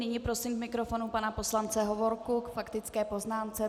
Nyní prosím k mikrofonu pana poslance Hovorku k faktické poznámce.